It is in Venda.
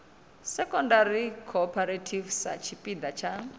secondary cooperative sa tshipiḓa tsha